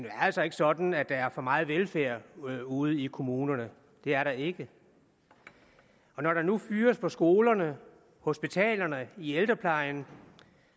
er altså ikke sådan at der er for meget velfærd ude i kommunerne det er der ikke når der nu fyres på skolerne hospitalerne i ældreplejen